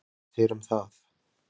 Erla: Hvað finnst þér um það?